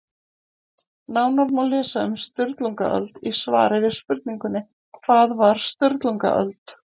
Nánar má lesa um Sturlungaöld í svari við spurningunni Hvað var Sturlungaöld?